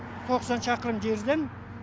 тоқсан шақырым жерден